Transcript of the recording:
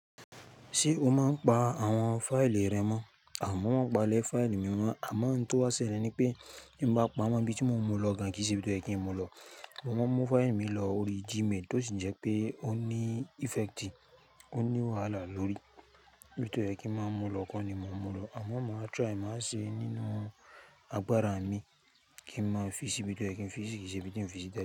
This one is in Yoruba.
Ṣé o máa ń pa àwọn fáìlì rẹ mọ́? Àmọ won n palẹ̀ fáìlì mi mọ́, àmọ́ n tó wà sílẹ̀ ni pé bí mo bá pa wá, níbi tí mo mú lọ gán kí n se íbi tí ó yẹ kí n mú lọ. Mo máa ń mú fáìlì mi lọ orí Gmail tó sì jẹ́ pé ó ní effecti, ó ní wàhálà lórí. Níbi tí ó yẹ kí ń máa mú lọ kọ́ ni mo mú lọ. Àmọ́ mo máa try, màá ṣe nínú agbára mi kí ń máa fi sí ibi tí ó yẹ kí n fi si yí kí ṣe ibi tí n fi sí tẹ́lẹ̀